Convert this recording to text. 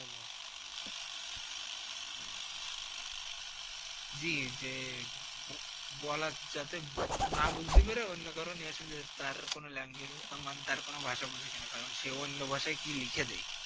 জি যে বলার যাতে না বুসতি মেরে অন্য কারও তার কোন মানে তার কোন ভাষা বোঝে কিনা কারণ সে অন্য ভাষায় কি লিখে দেয়।